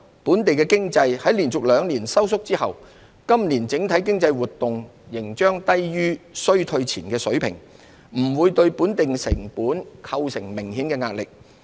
本地經濟在連續兩年收縮後，今年整體經濟活動仍將低於衰退前的水平，不會對本地成本構成明顯壓力。